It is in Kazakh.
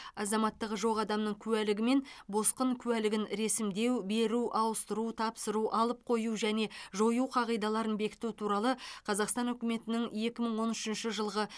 азаматтығы жоқ адамның куәлігі мен босқын куәлігін ресімдеу беру ауыстыру тапсыру алып қою және жою қағидаларын бекіту туралы қазақстан үкіметінің екі мың он үшінші жылғы